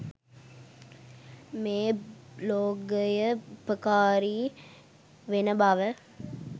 මේ බ්ලොගය උපකාරී වෙන බව